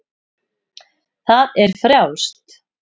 Það er frjálst.